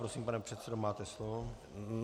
Prosím, pane předsedo, máte slovo.